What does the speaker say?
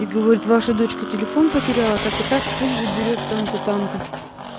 и говорит ваша дочка телефон потеряла так и так пусть заберёт там-то там-то